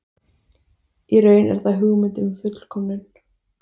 Í raun er það hugmynd um fullkomnun.